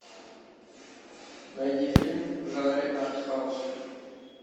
найди фильм в жанре арт хаус